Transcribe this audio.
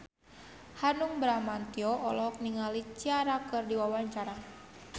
Hanung Bramantyo olohok ningali Ciara keur diwawancara